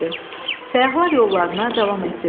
Səyyahlar yollarına davam etdilər.